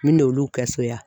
Min n'olu kɛ so yan.